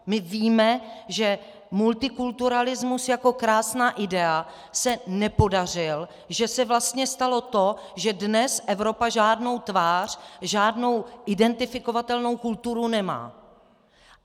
My víme, že multikulturalismus jako krásná idea se nepodařil, že se vlastně stalo to, že dnes Evropa žádnou tvář, žádnou identifikovatelnou kulturu nemá.